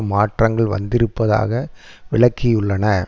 மாற்றங்கள் வந்திருப்பதாக விளக்கியுள்ளன